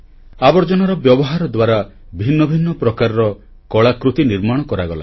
ଆବର୍ଜନାର ବ୍ୟବହାର ଦ୍ୱାରା ଭିନ୍ନଭିନ୍ନ ପ୍ରକାରର କଳାକୃତି ନିର୍ମାଣ କରାଗଲା